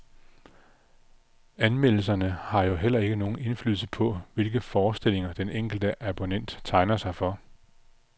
Anmeldelserne har jo heller ikke nogen indflydelse på, hvilke forestillinger den enkelte abonnent tegner sig for.